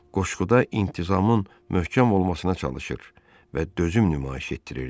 Qoşquda intizamın möhkəm olmasına çalışır və dözüm nümayiş etdirirdi.